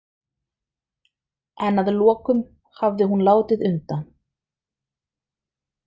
En að lokum hafði hún látið undan.